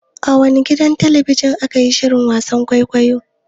A wane gidan talabijin ne ake yin shirin wasan kwaikwayo?